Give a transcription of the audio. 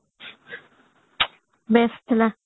best ଥିଲା